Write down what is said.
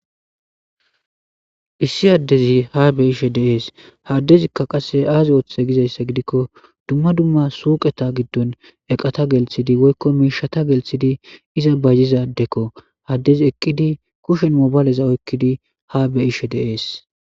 Issi addezi ha beishe dees haddezikka qasse aazi ooththe gizayssa gidikko dumma dumma suuqeta giddon eqata gelthidi woykko miishata gelthidi iza bajzizaddekko haddezi eqqidi kushen mobayleza oykkidi ha beishe dees.